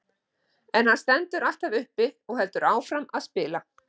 En hann stendur alltaf uppi og heldur áfram að spila.